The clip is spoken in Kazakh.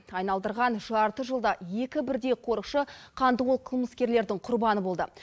айналдырған жарты жылда екі бірдей қорықшы қанды қол қылмыскерлердің құрбаны болды